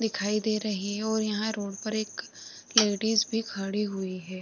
दिखाई दे रही है और यहाँ रोड पर एक लेडीज भी खड़ी हुई है।